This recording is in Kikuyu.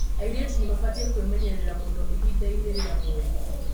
Airĩtu nĩ mabatie kwĩmenyerera mũno ihinda-inĩ rĩa mweri.